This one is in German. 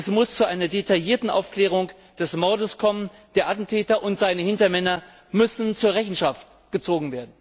Es muss zu einer detaillierten Aufklärung des Mordes kommen, der Attentäter und seine Hintermänner müssen zur Rechenschaft gezogen werden.